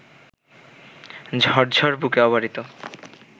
ঝরঝর বুকে অবারিত